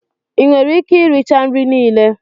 Ị nwere ike iricha nri niile?